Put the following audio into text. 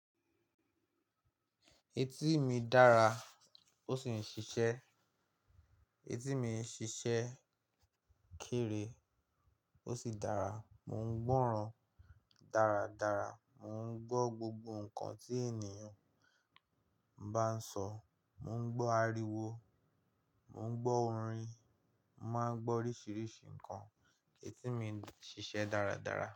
Etí mi dára ó sì ń ṣiṣẹ́. Etí mi ń ṣiṣẹ́ kéré ó sì dára. Mò ń gbọ́ràn dáradára, mò ń gbọ́ gbogbo nǹkan tí ènìyàn bá ń sọ, mò ń gbọ́ ariwo, mò ń gbọ́ orin, mo màá ń gbọ́ oríṣiríṣi nǹkan. Etí mi ń ṣiṣẹ́ dáradára.